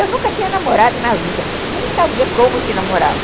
Eu nunca tinha namorado na vida, nem sabia como se namorava.